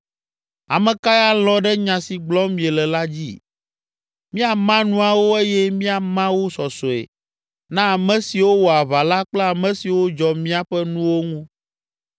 Ame kae alɔ̃ ɖe nya si gblɔm miele la dzi? Míama nuawo eye míama wo sɔsɔe, na ame siwo wɔ aʋa la kple ame siwo dzɔ míaƒe nuwo ŋu.”